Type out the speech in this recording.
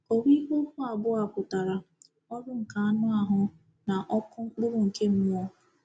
Kọwaa ihe okwu abụọ a pụtara: “ọrụ nke anụ ahụ” na “ọkụ mkpụrụ nke mmụọ.”